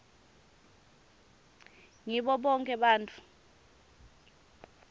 ngibo bonkhe bantfu